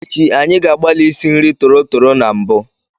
Echi, anyị ga-agbalị isi nri tọrọtọrọ na mbụ.